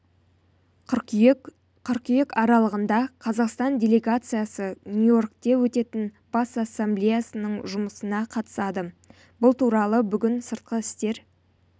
қыркүйек қыркүйек аралығында қазақстан делегациясы нью-йоркте өтетін бас ассамблеясының жұмысына қатысады бұл туралы бүгін сыртқы істер